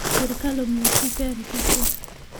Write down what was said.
Sirkal omiyo chife arita kwee